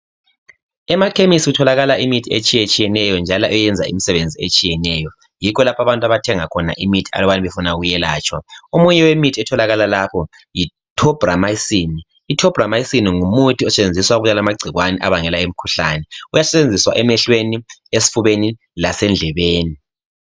Emakhemesi kutholakala imithi etshiyetshiyeneyo njalo eyenza imisebenzi etshiyeneyo. Yikho lapho abathenga khona imithi uma befuna ukwelatshwa. Omunye wemithi otholakala lapha yi Tobramycin. Lo ngumuthi osetshenziswa ukubulala amagcikwane abangela imikhuhlane. Uyasetshenziswa emehlweni, esifubeni lasendlebeni.